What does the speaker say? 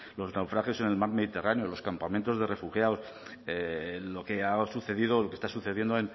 los naufragios en el mar mediterráneo los campamentos de refugiados lo que ha sucedido o lo que está sucediendo